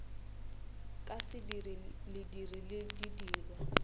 ka sediri lediri le sedirwa